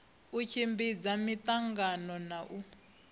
u tshimbidza miangano na u